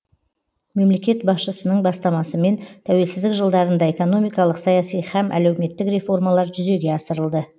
мемлекет басшысының бастамасымен тәуелсіздік жылдарында экономикалық саяси һәм әлеуметтік реформалар жүзеге асырылды